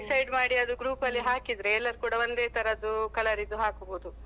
ಅಹ್ decide ಮಾಡಿ ಅದು group ಅಲ್ಲಿ ಹಾಕಿದ್ರೆ ಎಲ್ಲರು ಕೂಡ ಒಂದೆ ತರದ್ದು colour ದ್ದು ಹಾಕ್ಬೋದು.